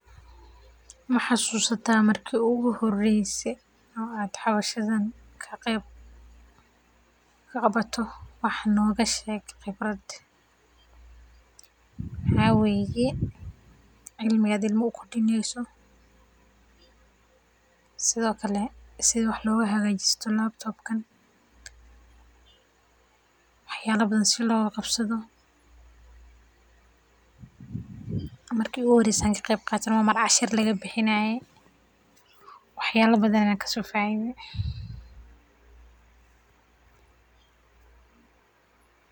Ma xasuusta marki iigu horeyse aad ka qeeb qaato wax nooga sheeg khibradaada waxaa waye cilmi aad ilmaha u kordineyso si aad uhagaajiso bahashan wax yaaba badan ayaan kasoo faide.